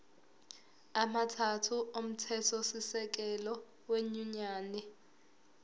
amathathu omthethosisekelo wenyunyane